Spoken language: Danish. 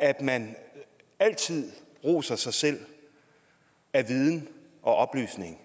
at man altid roser sig selv af viden og oplysning